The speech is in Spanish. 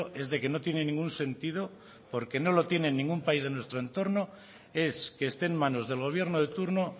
es de que no tiene ningún sentido porque no lo tiene en ningún país de nuestro entorno es que esté en manos del gobierno de turno